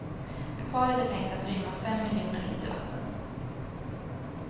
Akvariet är tänkt att rymma fem miljoner liter vatten.